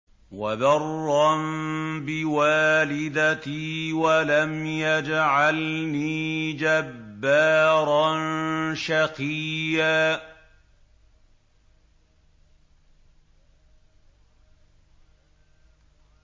وَبَرًّا بِوَالِدَتِي وَلَمْ يَجْعَلْنِي جَبَّارًا شَقِيًّا